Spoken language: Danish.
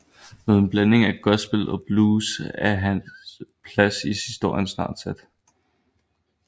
Med en blanding af gospel og blues er hans plads i historien snart sat